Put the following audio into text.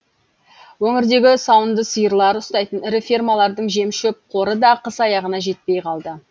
өңірдегі сауынды сиырлар ұстайтын ірі фермалардың жем шөп қоры да қыс аяғына жетпей қалды